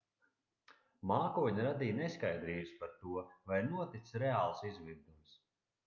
mākoņi radīja neskaidrības par to vai ir noticis reāls izvirdums